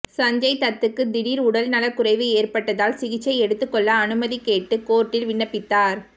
சஞ்சய் தத்துக்கு திடீர் உடல் நலக்குறைவு ஏற்பட்டதால் சிகிச்சை எடுத்துக் கொள்ள அனுமதி கேட்டு கோர்ட்டில் விண்ணப்பித்தார்